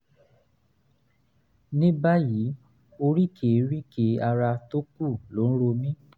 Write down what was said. ní báyìí oríkèé-ríkèé ara tó kù ló ń ro mí